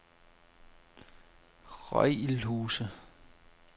Røgilhuse